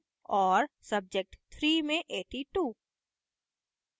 subject3 में 82